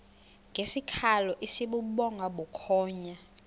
ngesikhalo esibubhonga bukhonya